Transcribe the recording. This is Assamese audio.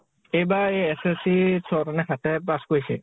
এইবাৰ এই SSC ছয় টা নে সাত তায়ে pass কৰিছে